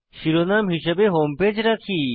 শিরোনাম হিসাবে home page রাখি